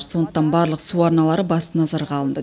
сондықтан барлық су арналары басты назарға алынды